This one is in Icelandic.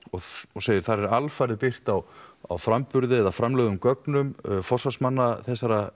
og segir þar er alfarið byggt á á framburði eða framlögðum gögnum forsvarsmanna þessa